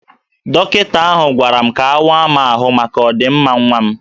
Dọkịta ahụ gwara m ka awa m ahụ maka ọ dị mma nwa m